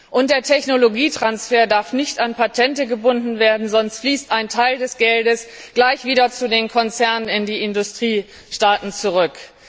Und der Technologietransfer darf nicht an Patente gebunden werden, sonst fließt ein Teil des Geldes gleich wieder zu den Konzernen in die Industriestaaten zurück.